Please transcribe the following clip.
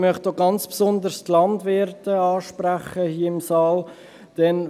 Ich möchte auch ganz besonders die Landwirte hier im Saal ansprechen.